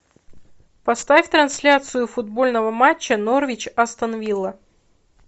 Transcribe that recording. поставь трансляцию футбольного матча норвич астон вилла